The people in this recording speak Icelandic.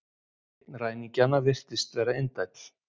Einn ræningjanna virtist vera indæll